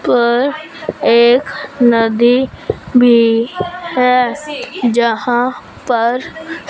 पर एक नदी भी है जहां पर--